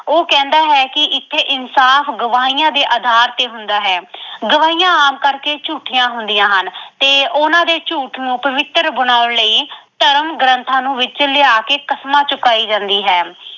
ਉਹ ਕਹਿੰਦਾ ਹੈ ਕਿ ਇੱਥੇ ਇਨਸਾਫ਼ ਗਵਾਈਆਂ ਦੇ ਆਧਾਰ ਤੇ ਹੁੰਦਾ ਹੈ। ਗਵਾਈਆਂ ਆਮ ਕਰਕੇ ਝੂਠੀਆਂ ਹੁੰਦੀਆਂ ਹਨ ਤੇ ਉਹਨਾਂ ਦੇ ਝੂਠ ਨੂੰ ਪਵਿੱਤਰ ਬਣਾਉਣ ਲਈ ਧਰਮ, ਗ੍ਰੰਥਾਂ ਨੂੰ ਵਿੱਚ ਲਿਆ ਕੇ ਕਸਮਾਂ ਚੁਕਾਈ ਜਾਂਦੀ ਹੈ।